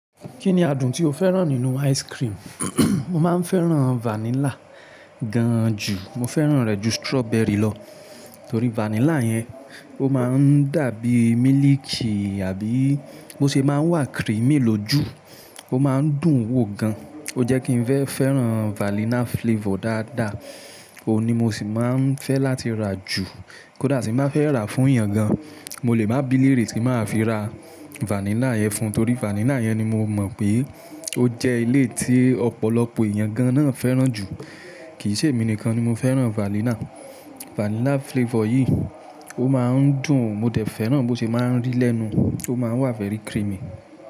Kí ni adùn tí o fẹ́ràn nínú ice cream? Mo máa ń fẹ́ràn vanilla gan an jù, mo fẹ́ràn rẹ̀ ju strawberry lọ. Torí vanilla yẹn, ó máa ń dàbí miliki àbí bó si máa ń wà creamy lójú, ó máa ń dùn wò gan an. O jẹ́ kí n fẹ́ fẹ́ràn vanilla flavor dáadáa, òun ni mo sì máa ń fẹ́ láti rà jù. Kódà tí mo máa fẹ́ rà fún èèyàn gan an, mo lè má biliri tí máa fi ra vanilla yẹn fún un torí vanilla yẹn ni mo mọ̀ pé ó jẹ́ ilé tí ọ̀pọ̀lọpọ̀ èèyàn gan an náà ń fẹ́ràn jù. Kì í ṣe èmi nìkan ni mo fẹ́ràn vanilla. Vanilla flavor yìí, ó máa ń dùn, mo dẹ̀ fẹ́ràn bó ti máa ń rì lẹ́nu, ó máa wà fẹ́rí creamy.